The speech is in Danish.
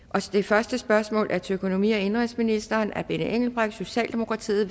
det første spørgsmål er til økonomi og indenrigsministeren af benny engelbrecht socialdemokratiet